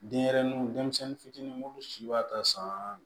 Denyɛrɛnin denmisɛnnin fitinin munnu si b'a ta san